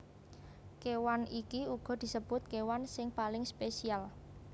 Kéwan iki uga disebut kéwan sing paling spesial